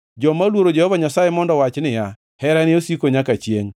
Joma oluoro Jehova Nyasaye mondo owach niya, “Herane osiko nyaka chiengʼ.”